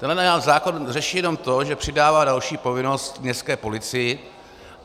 Tenhle zákon řeší jenom to, že přidává další povinnost městské policii.